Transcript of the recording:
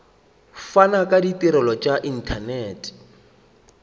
fana ka ditirelo tša inthanete